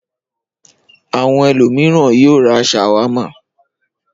Àwọn ẹlòmíràn yóò ra ṣàwámà.